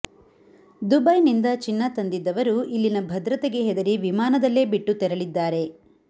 ದುಬೈನಿಂದ ಚಿನ್ನ ತಂದಿದ್ದವರು ಇಲ್ಲಿನ ಭದ್ರತೆಗೆ ಹೆದರಿ ವಿಮಾನದಲ್ಲೇ ಬಿಟ್ಟು ತೆರಳಿದ್ದಾರೆ